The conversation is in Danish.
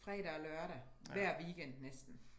Fredag og lørdag hver weekend næsten